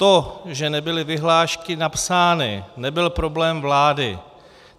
To, že nebyly vyhlášky napsány, nebyl problém vlády.